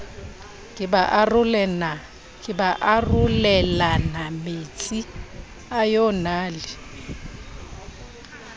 ke ba arolelanametsi a yonale